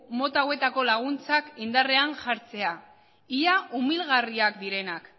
mota hauetako laguntzak indarrean jartzea ia umilgarriak direnak